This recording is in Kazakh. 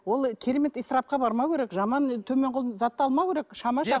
ол керемет ысырапқа бармау керек жаман төмен зат алмау керек